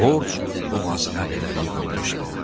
Borc boğazına qədər yığılmışdı.